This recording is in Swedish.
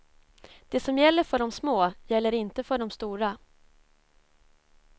Det som gäller för de små gäller inte för de stora.